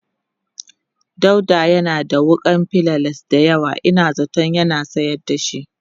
dauda Yana da wukan pilalas daya yawa in zaton Yana sayar dashi.